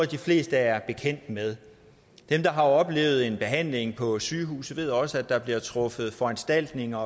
de fleste er bekendt med dem der har oplevet en behandling på sygehuset ved også at der bliver truffet foranstaltninger